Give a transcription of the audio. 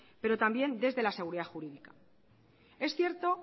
pero también desde la seguridad jurídica es cierto